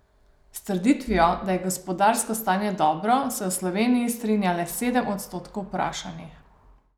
S trditvijo, da je gospodarsko stanje dobro, se v Sloveniji strinja le sedem odstotkov vprašanih.